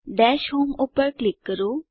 દશ હોમ પર ક્લિક કરો